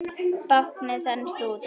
Báknið þenst út.